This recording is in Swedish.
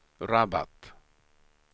Rabat